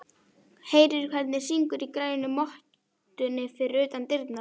Heyrir hvernig syngur í grænu mottunni fyrir utan dyrnar.